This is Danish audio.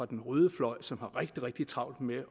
den røde fløj som har rigtig rigtig travlt med